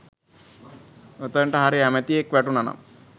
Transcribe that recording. ඔතෙනට හරි ඇමතියෙක් වැටුනා නම්